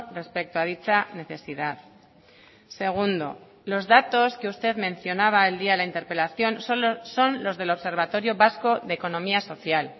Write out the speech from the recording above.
respecto a dicha necesidad segundo los datos que usted mencionaba el día de la interpelación son los del observatorio vasco de economía social